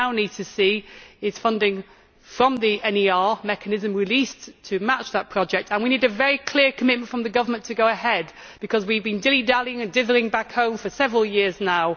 What we now need to see is funding from the NER mechanism released to match that project, and we need a very clear commitment from the government to go ahead, because we have been dilly dallying and dithering back home for several years now.